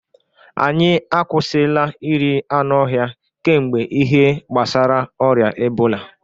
anyị akwụsịla iri anụ ọhịa kemgbe ihe gbasara ọrịa ebola